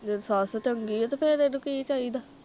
ਸੱਸ ਚੰਗੀ ਹੈ ਤੇ ਫਿਰ ਇਹਨੂੰ ਕਿ ਚਾਹੀਦਾ?